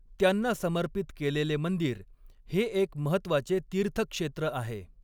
त्यांना समर्पित केलेले मंदिर हे एक महत्त्वाचे तीर्थक्षेत्र आहे.